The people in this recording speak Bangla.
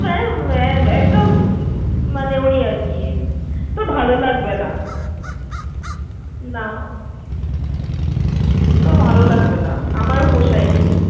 এই~এই একদম মানে ওই আর কি! খুব ভালো লাগছেনা। সেরকম একটা হয়নি। হ্যাঁ, সেরকমটা হয়নি শুনলাম। একটুও ভালোলাগছেনা, আমারও পোষায়নি।